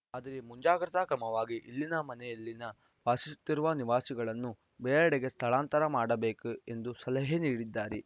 ಆದರೆ ಮುಂಜಾಗ್ರತಾ ಕ್ರಮವಾಗಿ ಇಲ್ಲಿನ ಮನೆಯಲ್ಲಿ ವಾಸಿಸುತ್ತಿರುವ ನಿವಾಸಿಗಳನ್ನು ಬೇರೆಡೆಗೆ ಸ್ಥಳಾಂತರ ಮಾಡಬೇಕು ಎಂದು ಸಲಹೆ ನೀಡಿದ್ದಾರೆ